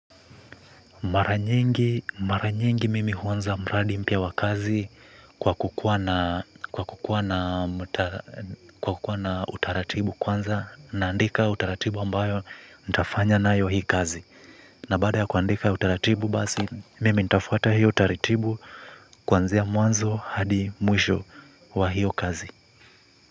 Maranyingi mimi huwanza mradi mpia wa kazi kwa kukuwa na utaratibu kwanza naandika utaratibu ambayo nitafanya na ayo hii kazi. Na baada ya kuandika utaratibu bazi mimi nitafata hiyo utaratibu kwanzea mwanzo hadi mwisho wa hiyo kazi.